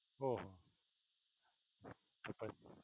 ઓહો